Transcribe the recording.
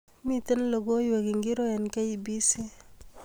Miten logoiwek ingircho eng kbc